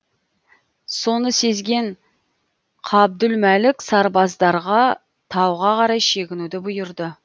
соны сезген қабдүлмәлік сарбаздарға тауға қарай шегінуді бұйырды